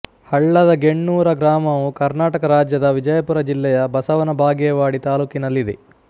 ಹಳ್ಳದ ಗೆಣ್ಣೂರ ಗ್ರಾಮವು ಕರ್ನಾಟಕ ರಾಜ್ಯದ ವಿಜಯಪುರ ಜಿಲ್ಲೆಯ ಬಸವನ ಬಾಗೇವಾಡಿ ತಾಲ್ಲೂಕಿನಲ್ಲಿದೆ